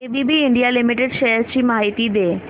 ABB India limited shares ची माहिती दे